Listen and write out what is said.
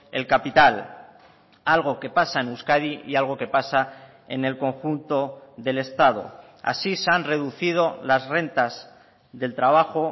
el capital algo que pasa en euskadi y algo que pasa en el conjunto del estado así se han reducido las rentas del trabajo